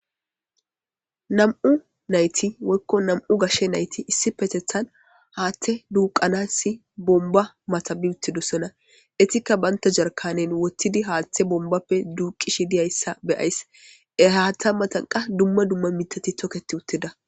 nam7u nayti woykko nam7u gashshe nayti issi petethan haatte duuqanassi bomba matabi uttedusona etikka banta jarkanen wottidi haaththe bombappe duuqishi diyayssa beyays ehatta matanqa dumma dumma mitati tokketi utteda